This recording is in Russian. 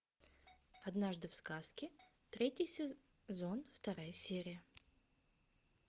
однажды в сказке третий сезон вторая серия